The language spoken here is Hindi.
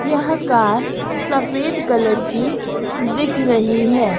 यह कार सफेद कलर की दिख रही है।